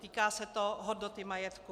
Týká se to hodnoty majetku.